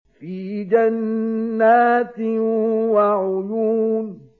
فِي جَنَّاتٍ وَعُيُونٍ